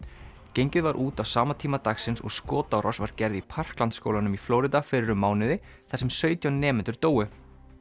gengið var út á sama tíma dagsins og skotárás var gerð í skólanum í flórida fyrir um mánuði þar sem sautján nemendur dóu